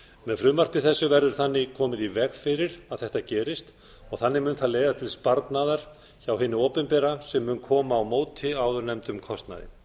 með frumvarpi þessu verður þannig koma í veg fyrir að þetta gerist og þannig mun það leiða til sparnaðar hjá hinu opinbera sem mun koma á móti áðurnefndum kostnaði